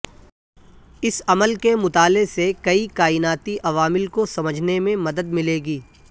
اس عمل کے مطالعے سے کئی کائناتی عوامل کو سمجھنے میں مدد ملے گی